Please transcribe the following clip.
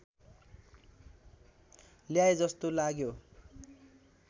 ल्याए जस्तो लाग्यो